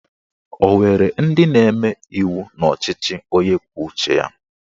O nwere ndị na-eme iwu n'ọchịchị onye kwuo uche ya?